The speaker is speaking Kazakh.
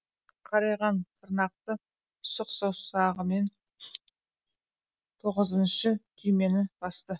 қарайған тырнақты сұқ саусағымен тоғызыншы түймені басты